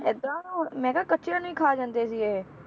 ਏਦਾਂ ਨਾ ਹੁਣ ਮੈਂ ਕਿਹਾ ਕੱਚਿਆਂ ਨੂੰ ਹੀ ਖਾ ਜਾਂਦੇ ਸੀ ਇਹ।